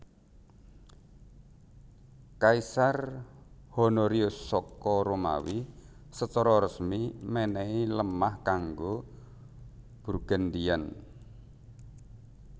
Kaisar Honorius saka Romawi secara resmi menehi lemah kanggo Burgundian